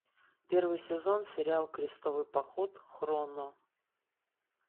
первый сезон сериал крестовый поход хроно